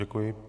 Děkuji.